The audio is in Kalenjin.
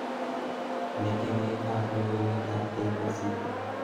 Metewekab logoiwekab K.B.C